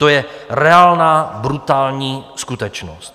To je reálná brutální skutečnost!